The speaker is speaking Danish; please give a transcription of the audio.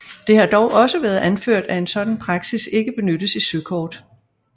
Det har dog også været anført at en sådan praksis ikke benyttes i søkort